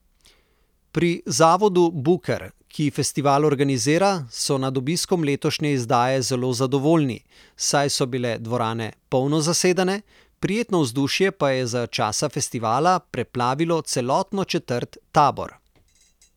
Pri zavodu Buker, ki festival organizira, so nad obiskom letošnje izdaje zelo zadovoljni, saj so bile dvorane polno zasedene, prijetno vzdušje pa je za časa festivala preplavilo celotno četrt Tabor.